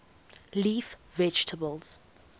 leaf vegetables